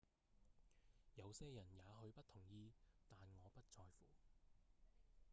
「有些人也許不同意但我不在乎